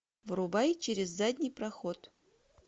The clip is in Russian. врубай через задний проход